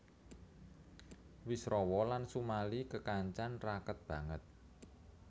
Wisrawa lan Sumali kekancan raket banget